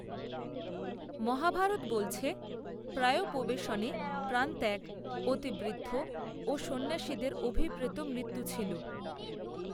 মহাভারত বলছে প্রায়োপবেশনে প্রাণত্যাগ অতি বৃদ্ধ ও সন্ন্যাসীদের অভিপ্রেত মৃত্যু ছিল